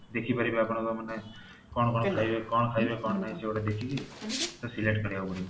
ଦେଖିପାରିବେ ଆପଣ ମାନେ କଣ କଣ ଖାଇବେ କଣ ଖାଇବେ କଣ ନାହିଁ ସେଗୁଡା ଦେଖିକି select କରିବାକୁ ପଡିବ